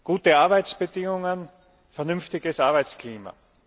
gute Arbeitsbedingungen, vernünftiges Arbeitsklima.